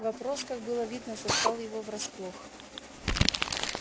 вопрос как было видно застал его врасплох